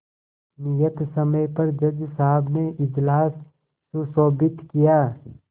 नियत समय पर जज साहब ने इजलास सुशोभित किया